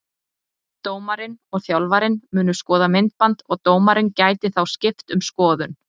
Dómarinn og þjálfarinn munu skoða myndband og dómarinn gæti þá skipt um skoðun.